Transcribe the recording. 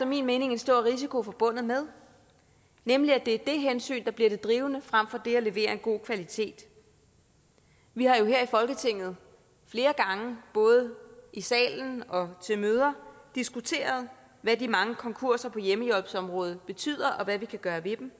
min mening en stor risiko forbundet med nemlig at det er det hensyn der bliver det drivende frem for det at levere en god kvalitet vi har jo her i folketinget flere gange både i salen og til møder diskuteret hvad de mange konkurser på hjemmehjælpsområdet betyder og hvad vi kan gøre ved dem